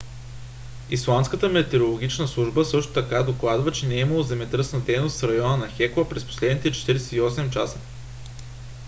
исландската метеорологична служба също така докладва че не е имало земетръсна дейност в района на хекла през последните 48 часа